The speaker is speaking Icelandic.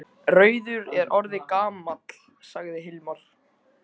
Rauður er orðinn gamall, sagði Hilmar.